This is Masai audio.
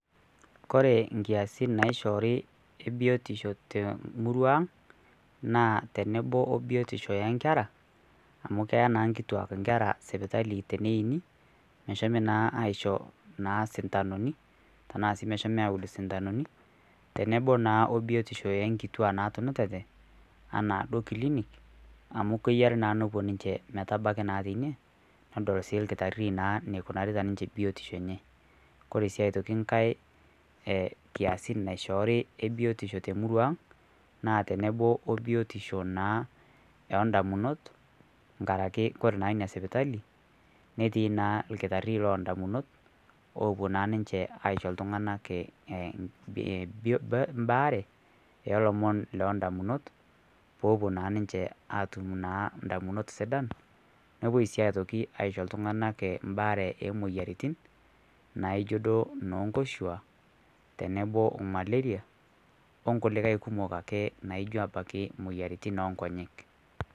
Kore ikiasin e biotisho naaishoori te emurua aang, naa tenebo o biotisho o nkera, amu keyaa naa inkituak sipitali teneini, meshomi naa aisho isintanuni, tanaa sii meshomi aaud isintanuni, tenebo naa o biotisho o nkituaa naatunutate, anaa duo kilinik, amu keyare naa ninche nepuo naa metabaki teine, nedol naa olkitari eneikunaari na ninche biotisho enye. Kore sii aitoki nkai kiasin e biotisho naishoori te emurua aang' naa tenebo o biotisho naa oo ndamunot, nkaraki kore naa ina sipitali, netii naa olkitari loo ndamunot, oopuo naa ninche aisho iltung'anak baare o lomon loo ndamunot, pee epuo naa ninche aatum indamunot sidan, nepuoi ii aitoki aisho iltung'ana embaare e moyiaritin naijo duo noonkoshua tenebo o malaria, o nkulikai kumok ake naijo abaiki imoyiaritin oo nkonyek.